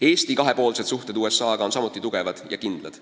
Eesti kahepoolsed suhted USA-ga on samuti head ja kindlad.